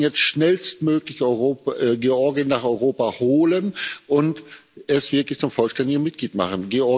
Wir sollten jetzt schnellstmöglich Georgien nach Europa holen und es wirklich zum vollständigen Mitglied machen.